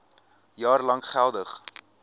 jaar lank geldig